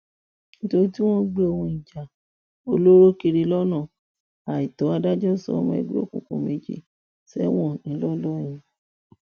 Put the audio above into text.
nítorí tí wọn ń gbé ohun ìjà olóró kiri lọnà àìtó adájọ sọ ọmọ ẹgbẹ òkùnkùn méjì sẹwọn ńlọrọrìn